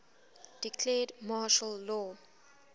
declared martial law